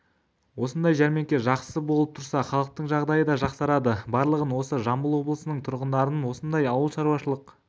осындай жәрмеңке жақсы болып тұрса халықтың жағдайы да жақсарады барлығын осы жамбыл облысының тұрғындарын осындай ауылшаруашылық